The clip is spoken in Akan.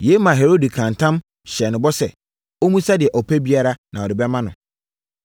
Yei maa Herode kaa ntam, hyɛɛ no bɔ sɛ, ɔmmisa deɛ ɔpɛ biara na ɔde bɛma no.